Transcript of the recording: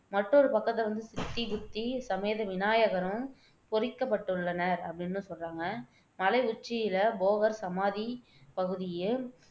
மற்றொரு பக்கத்துல வந்து சித்தி, புத்தி சமேத விநாயகரும் பொறிக்கப்பட்டுள்ளன அப்படின்னும் சொல்றாங்க மலை உச்சியில் போகர் சமாதி பகுதியில்